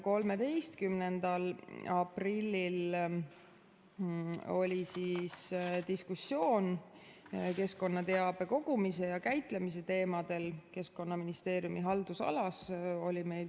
13. aprillil oli diskussioon keskkonnateabe kogumise ja käitlemise teemadel Keskkonnaministeeriumi haldusalas.